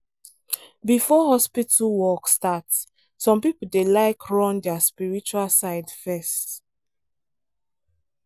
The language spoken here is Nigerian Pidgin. before hospital work start some people dey like run their spiritual side first.